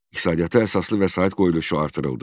İqtisadiyyata əsaslı vəsait qoyuluşu artırıldı.